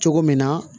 Cogo min na